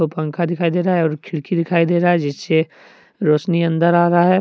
वो पंखा दिखाई दे रहा है और खिड़की दिखाई दे रहा है जिससे रोशनी अंदर आ रहा है।